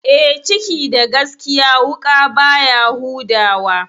Eh, ciki da gaskiya wuƙa baya huda wa.